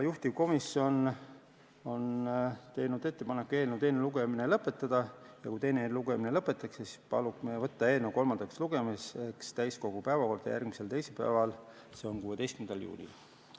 Juhtivkomisjon on teinud ettepaneku eelnõu teine lugemine lõpetada ja kui teine lugemine lõpetatakse, siis palume võtta eelnõu kolmandaks lugemiseks täiskogu päevakorda järgmiseks teisipäevaks, s.o 16. juuniks.